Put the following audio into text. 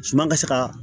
Suma ka se ka